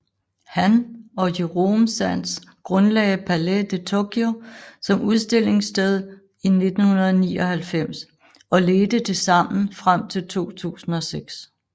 Han og Jérôme Sans grundlagde Palais de Tokyo som udstillingssted i 1999 og ledte det sammen frem til 2006